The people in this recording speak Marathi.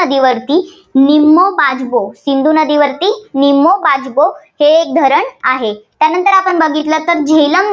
सिंधू नदीवरती निमो बाजगो हे एक धरण आहे. त्यानंतर आपण बघितलं तर झेलम